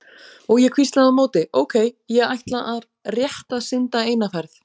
Og ég hvíslaði á móti: Ókei, ég ætla rétt að synda eina ferð.